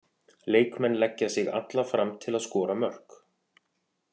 Leikmenn leggja sig alla fram til að skora mörk.